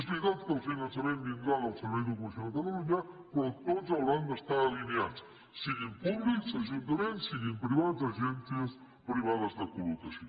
és veritat que el finançament vindrà del servei d’ocupació de catalunya però tots hauran d’estar alineats siguin públics ajuntaments siguin privats agències privades de col·locació